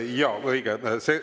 Jaa, õige!